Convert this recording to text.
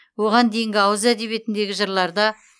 оған дейінгі ауыз әдебиетіндегі жырларда